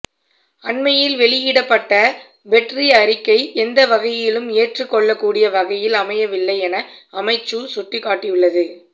அண்மையில் வெளியிடப்பட்ட பெட்ரீ அறிக்கை எந்த வகையிலும் ஏற்றுக் கொள்ளக் கூடிய வகையில் அமையவில்லை என அமைச்சு சுட்டிக்காட்டியுள்ளது